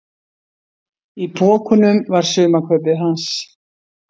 Í pokunum var sumarkaupið hans.